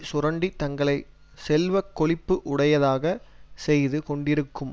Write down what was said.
சுரண்டி தங்களை செல்வ கொழிப்பு உடையதாக செய்து கொண்டிருக்கும்